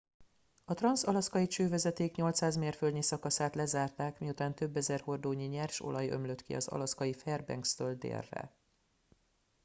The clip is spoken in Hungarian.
a transz alaszkai csővezeték 800 mérföldnyi szakaszát lezárták miután több ezer hordónyi nyers olaj ömlött ki az alaszkai fairbankstől délre